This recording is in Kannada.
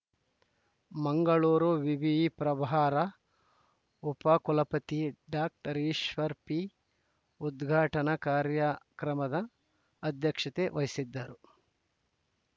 ಮಂಗಳೂರು ವಿವಿಯಿ ಪ್ರಭಾರ ಉಪ ಕುಲಪತಿ ಡಾಕ್ಟರ್ ಈಶ್ವರ ಪಿ ಉದ್ಘಾಟನಾ ಕಾರ್ಯಕ್ರಮದ ಅಧ್ಯಕ್ಷತೆ ವಹಿಸಿದ್ದರು